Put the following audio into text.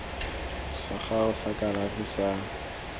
sa gago sa kalafi sa